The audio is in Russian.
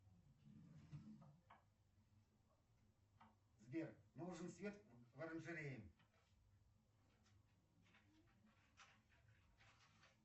сбер нужен свет в оранжерее